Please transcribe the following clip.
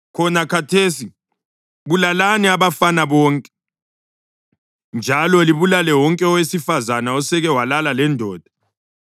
Khona khathesi bulalani abafana bonke. Njalo libulale wonke owesifazane oseke walala lendoda,